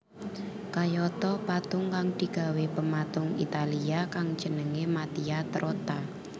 Kayata patung kang digawé pematung Italia kang jenengé Mattia Trotta